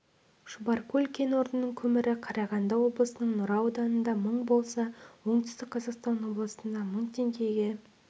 шұбаркөл кен орнының көмірі қарағанды облысының нұра ауданында мың болса оңтүстік қазақстан облысында мың теңгеге